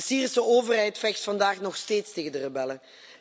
De Syrische overheid vecht vandaag nog steeds tegen de rebellen.